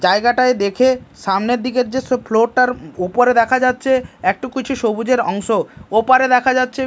জায়গাটায় দেখে সামনের দিকের দৃশ্য ফ্লোর -টার ওপরে দেখা যাচ্ছে একটু কিছু সবুজের অংশ ওপারে দেখা যাচ্ছে--